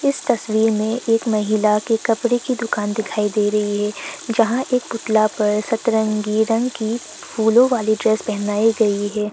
इस तस्वीर में एक महिला के कपड़े की दुकान दिखाई दे रही है जहां एक पुतला पर सतरंगी रंग की फूलो वाली ड्रेस पहनाई गई है।